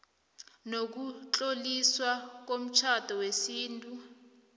nokutloliswa komtjhado wesintu